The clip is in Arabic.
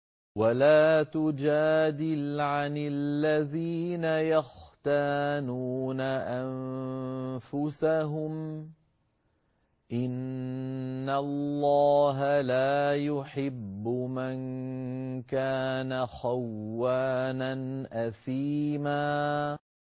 وَلَا تُجَادِلْ عَنِ الَّذِينَ يَخْتَانُونَ أَنفُسَهُمْ ۚ إِنَّ اللَّهَ لَا يُحِبُّ مَن كَانَ خَوَّانًا أَثِيمًا